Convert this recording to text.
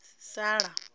sala